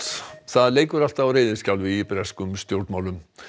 það leikur allt á reiðiskjálfi í breskum stjórnmálum